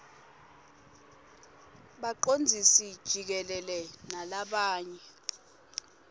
bacondzisi jikelele nalabanye